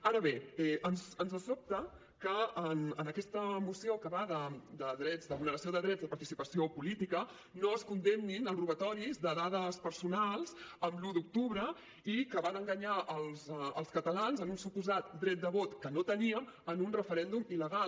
ara bé ens sobta que en aquesta moció que va de vulneració de drets de participació política no es condemnin els robatoris de dades personals l’un d’octubre i que van enganyar els catalans amb un suposat dret de vot que no teníem en un referèndum il·legal